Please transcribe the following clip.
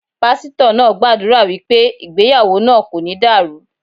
Pásítọ̀ náà gbàdúrà wípé ìgbéyàwó náà kò ní dàrú.